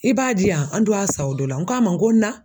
I b'a diyan an do wa san o dɔ la n k'a ma n ko n na